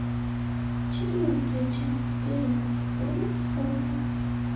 четвертая часть первого сезона сотня